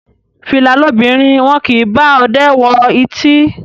Fìlà lobìnrin, wọn kì í bá ọdẹ wọ ìtí.